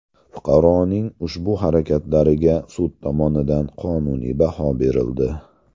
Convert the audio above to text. Fuqaroning ushbu harakatlariga sud tomonidan qonuniy baho berildi.